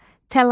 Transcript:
Təlaş,